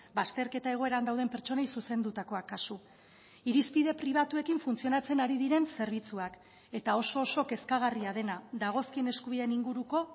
bazterketa egoeran dauden pertsonei zuzendutakoak kasu irizpide pribatuekin funtzionatzen ari diren zerbitzuak eta oso oso kezkagarria dena dagozkien eskubideen inguruko